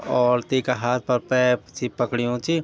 और तीका हाथ पर पैप सी पकड़यूँ च।